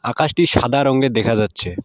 আকাশটি সাদা রঙের দেখা যাচ্ছে।